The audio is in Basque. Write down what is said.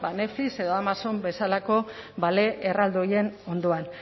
netflix edo amazon bezalako bale erraldoi horien ondoan